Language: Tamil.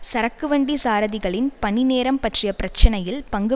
சரக்கு வண்டி சாரதிகளின் பணி நேரம் பற்றிய பிரச்சினையில் பங்கு